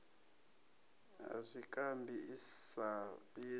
ya zwikambi i sa fhidzi